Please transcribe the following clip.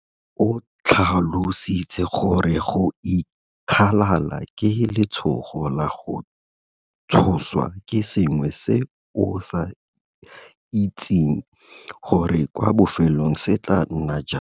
O tlhalositse gore go ikgalala ke letshogo la go tshoswa ke sengwe se o sa itseng gore kwa bofelong se tla nna jang.